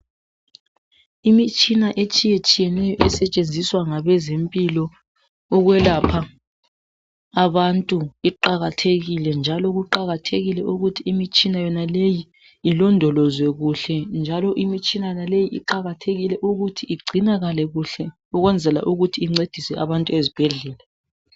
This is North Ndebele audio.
imitshina etshiyetshiyeneyo esetshenziswa ngabezempilo ukwelapha abantu iqakathekile njalo kuqakathekile ukuthi imitshina yonaleyi ilondolozwe kuhle njalo imithsina yonaleyi iqakathekile ukuthi igcinakale kuhle ukwenzela ukuthi incedise abantu ezibhedlela